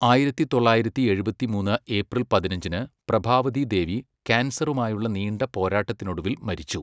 ആയിരത്തി തൊള്ളായിരത്തി എഴുപത്തിമൂന്ന് ഏപ്രിൽ പതിനഞ്ചിന് പ്രഭാവതി ദേവി ക്യാൻസറുമായുള്ള നീണ്ട പോരാട്ടത്തിനൊടുവിൽ മരിച്ചു.